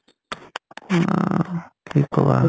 কি কবা আৰু।